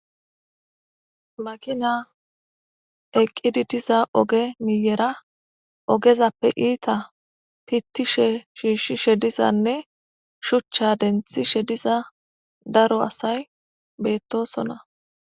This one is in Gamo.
makina eqqidi diza oge miyera ogezappe iita pittishe shiishshishe dizanne shuchcha denthishe diza daro asay beettosona